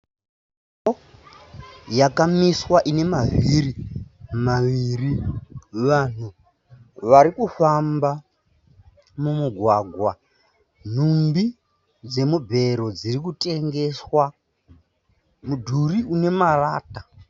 Ngoro yakamiswa ine mavhiri maviri. Vanhu vari kufamba mumugwagwa. Nhumbi dzemubhero dziri kutengeswa. Mudhuri une marata.